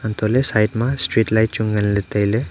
hantoh ley side ma stride light chu ngan le taile.